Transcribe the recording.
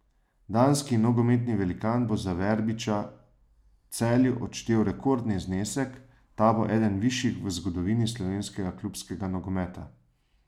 Danski nogometni velikan bo za Verbiča Celju odštel rekordni znesek, ta bo eden višjih v zgodovini slovenskega klubskega nogometa.